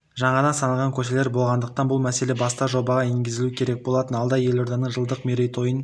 жаңадан салынған көшелер болғандықтан бұл мәселе баста жобаға енгізілуі керек болатын алда елорданың жылдық мерейтойын